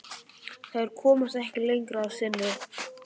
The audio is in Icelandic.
Þær komast ekki lengra að sinni.